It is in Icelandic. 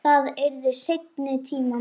Það yrði seinni tíma mál.